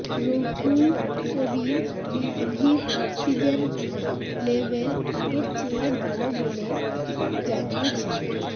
রুহুল কবির রিজভীর oxygen level আগের চেয়ে ভালো বলে বলে জানিয়েছেন ডা